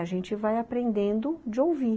A gente vai aprendendo de ouvir.